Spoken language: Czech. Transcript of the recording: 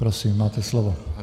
Prosím, máte slovo.